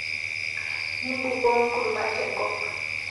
Mimbukoo nkuruma teng'op